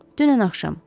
Dünən axşam.